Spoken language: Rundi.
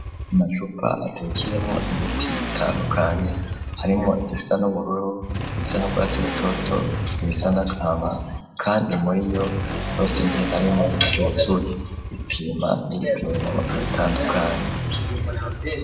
Amacupa atekeyemwo imiti itandukanye harimwo irisa n'ubururu irisa n'urwatsi rutoto, irisa n'agahama kandi muri yo yose harimwo iryuzuye ripima n'ibipimo bitandukanye.